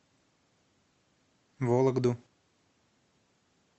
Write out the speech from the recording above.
вологду